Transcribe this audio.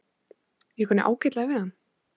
Ég kunni ágætlega við hann.